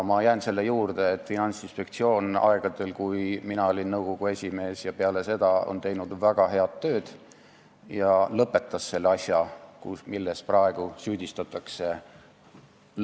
Ma jään selle juurde, et Finantsinspektsioon tegi aegadel, kui mina olin nõukogu esimees, ja on ka peale seda teinud väga head tööd ning ta lõpetas selle asja, milles praegu lõpetajat süüdistatakse.